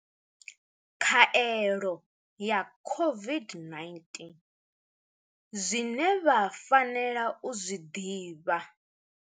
Khaelo ya COVID-19, Zwine vha fanela u zwi ḓivha.